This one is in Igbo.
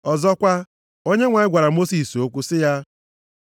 Ọzọkwa, Onyenwe anyị gwara Mosis okwu sị ya,